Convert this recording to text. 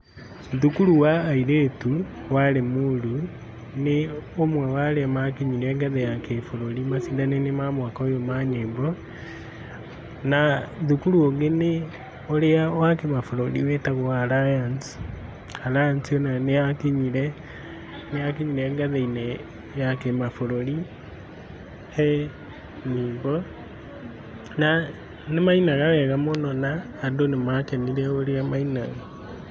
Thukuru wa airĩtu wa Lĩmuru nĩ ũmwe wa arĩa makinyire ngathĩ ya kĩbũrũri macindano-inĩ ma mwaka ũyũ ma nyĩmbo, na thukuru ũngĩ nĩ ũrĩa wa kĩmabũrũri wĩtagwo Alliance, Alliance onayo nĩyakinyire nĩyakinyire ngathĩ-inĩ ya kĩmabũrũri he nyĩmbo na nĩmainaga wega mũno na andũ nĩmakenire ũrĩa mainaga.